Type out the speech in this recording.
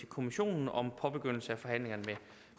kommissionen om påbegyndelse af forhandlingerne